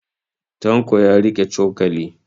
Tanko ya riƙe cokali.